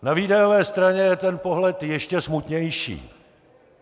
Na výdajové straně je ten pohled ještě smutnější.